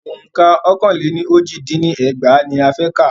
Ọ̀ǹka ọkàn le ní oji dín ní ẹgbàá ní a fẹ́ ká lọ́ọ̀kọ́.